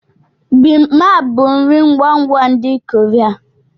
Bimaap bụ nri ngwa ngwa ndị Korea.